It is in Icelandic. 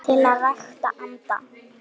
til að rækta andann